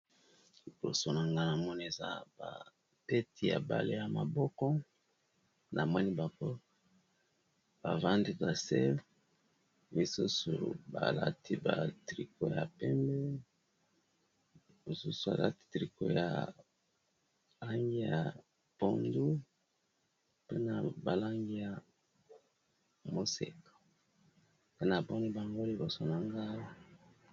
Libosonanga na moneza babeti ya bale ya maboko, na moni bango bavandi, nase misusu balati ba triko ya pembebalati, triko ya ange ya pondu mpe na balangi ya moseka mpe na poni bangolibosona ngaa